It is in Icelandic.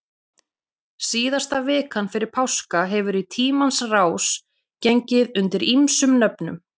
Síðasta vikan fyrir páska hefur í tímans rás gengið undir ýmsum nöfnum.